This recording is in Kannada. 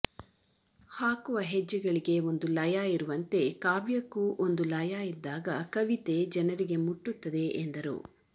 ಹಾಕುವ ಹೆಜ್ಜೆಗಳಿಗೆ ಒಂದು ಲಯ ಇರುವಂತೆ ಕಾವ್ಯಕ್ಕೂ ಒಂದು ಲಯ ಇದ್ದಾಗ ಕವಿತೆ ಜನರಿಗೆ ಮುಟ್ಟುತ್ತದೆ ಎಂದರು